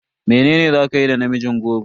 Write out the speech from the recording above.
Mene za kayi da namijin goro?